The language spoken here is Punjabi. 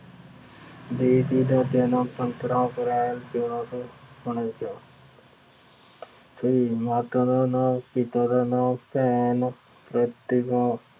ਦੇਵ ਜੀ ਦਾ ਜਨਮ ਪੰਦਰਾਂ ਅਪ੍ਰੈਲ ਚੌਦਾ ਸੌ ਉਨੰਜ਼ਾ ਫਿਰ ਮਾਤਾ ਦਾ ਨਾਂ, ਪਿਤਾ ਦਾ ਨਾਂ, ਭੈਣ ਪ੍ਰਤੀਭਾ